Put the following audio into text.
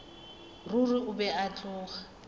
ruri o be a tloga